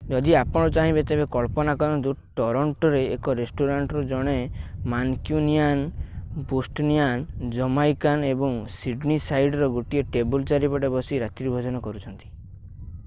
ଯଦି ଆପଣ ଚାହିଁବେ ତେବେ କଳ୍ପନା କରନ୍ତୁ ଟରଣ୍ଟୋରେ ଏକ ରେଷ୍ଟୁରାଣ୍ଟରେ ଜଣେ ମାନକ୍ୟୁନିୟାନ୍ ବୋଷ୍ଟୋନିଆନ୍ ଜାମାଇକାନ୍ ଏବଂ ସିଡନୀସାଇଡର୍ ଗୋଟିଏ ଟେବୁଲ୍ ଚାରିପଟେ ବସି ରାତ୍ରିଭୋଜନ କରୁଛନ୍ତି